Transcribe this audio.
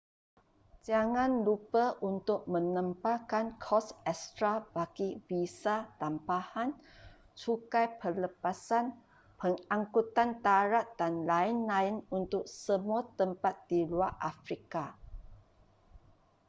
jangan lupa untuk menambahkan kos ekstra bagi visa tambahan cukai pelepasan pengangkutan darat dan lain-lain untuk semua tempat di luar afrika